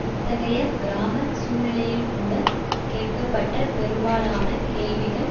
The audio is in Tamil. இத்தகைய கிராம சூழ்நிலையில்கூட கேட்கப்பட்ட பெரும்பாலான கேள்விகள்